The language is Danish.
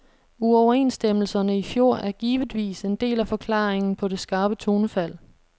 Uoverenstemmelserne i fjor er givetvis en del af forklaringen på det skarpe tonefald.